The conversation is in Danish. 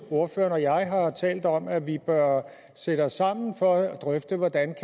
ordføreren og jeg har også talt om at vi bør sætte os sammen for at drøfte hvordan